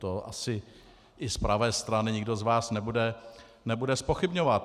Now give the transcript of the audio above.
To asi i z pravé strany nikdo z vás nebude zpochybňovat.